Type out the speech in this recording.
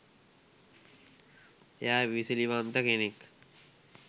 එයා ඉවසිලිවන්ත කෙනෙක්